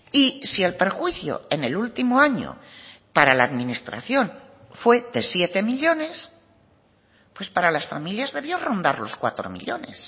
y si el perjuicio en el último año para la administración fue de siete millónes pues para las familias debió rondar los cuatro millónes